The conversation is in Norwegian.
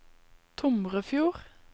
Tomrefjord